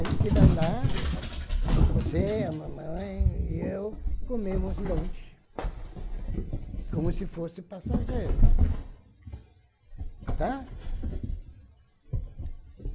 A gente vai lá, você, a mamãe e eu comemos lanche, como se fosse passageiro, tá?